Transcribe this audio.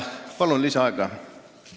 Palun lisaaega!